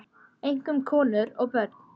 Einkum konur og börn.